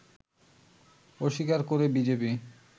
অস্বীকার করে বিজেপি